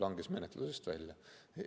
Langes menetlusest välja.